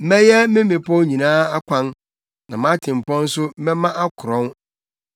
Mɛyɛ me mmepɔw nyinaa akwan, na mʼatempɔn nso mɛma akrɔn.